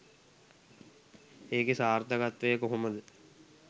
ඒකෙ සාර්ථකත්වය කොහොමද